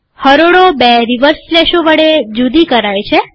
હરોળો બે રીવર્સ સ્લેશો વડે જુદી કરાય છે